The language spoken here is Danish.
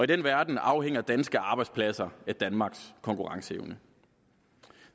den verden afhænger danske arbejdspladser af danmarks konkurrenceevne